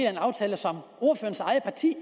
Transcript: af en aftale som ordførerens eget parti